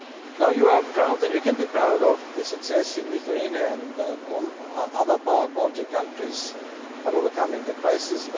Now you are proud, and you can be proud of the success in Lithuania and in all other Baltic countries on overcoming the crisis.